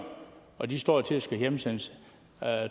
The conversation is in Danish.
og de står til at skulle hjemsendes